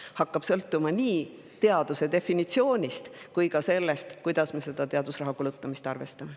See hakkab sõltuma nii teaduse definitsioonist kui ka sellest, kuidas me teadusraha kulutamist arvestame.